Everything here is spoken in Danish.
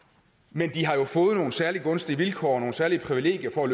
men de har jo fået nogle særlig gunstige vilkår og nogle særlige privilegier for at